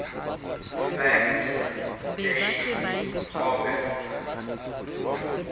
fact date august